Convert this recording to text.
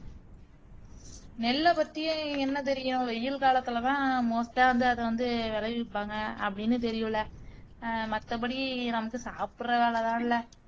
நெல்ல பத்தி என்ன தெரியும் வெயில் காலத்துல தான் most ஆ வந்து அத வந்து விளைவிப்பாங்க அப்படின்னு தெரியும்லே அஹ் மத்தபடி நமக்கு சாப்புட்ற வேலைதான்லே